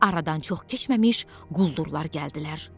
Aradan çox keçməmiş quldurlar gəldilər.